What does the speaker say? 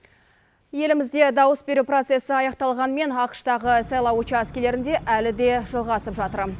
елімізде дауыс беру процесі аяқталғанмен ақш тағы сайлау учаскелерінде әлі де жалғасып жатыр